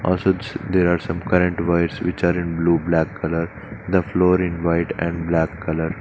Also there are some current wires which are in blue black colour the floor in white and black colour.